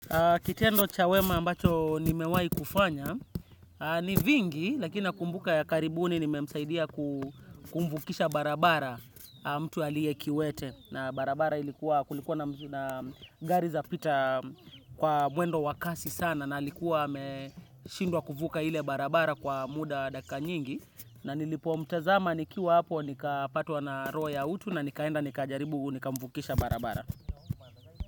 Kitendo cha wema ambacho nimewahi kufanya, ni vingi lakini nakumbuka ya karibuni nimesaidia kumvukisha barabara mtu aliyekiwete. Na barabara kulikuwa na gari zapita kwa mwendo wa kasi sana na alikuwa ameshindwa kuvuka ile barabara kwa muda wa dakika nyingi. Na nilipomtazama nikiwa hapo nikapatwa na roho ya utu na nikaenda nikajaribu nikamvukisha barabara.